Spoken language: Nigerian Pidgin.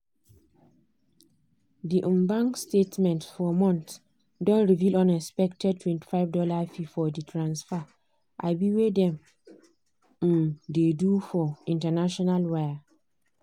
the um bank statement ffor month don reveal unexpectedtwenty five dollarsfee for the transfers um wey dem um dey do for international wire.